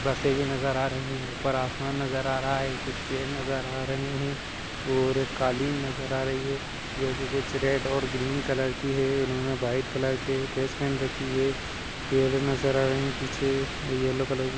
बसे भी नजर आ रही है। ऊपर आसमान भी नजर आ रहा है और कुछ पेड़ नजर आ रहे हैं और कुछ कालीन नजर आ रही हैं जो कुछ रेड और ग्रीन कलर की हैं। उन्होंने वाईट कलर के ड्रेस पहन रखी है। पेड़ नजर आ रहे हैं। पीछे यल्लो कलर के --